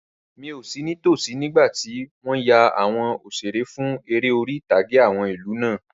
Rárá, mi ò sí ní tosí nígbàtí wọ́n yan àwọn òṣeré fún eré orí-ìtàgé àwọn ìlú náà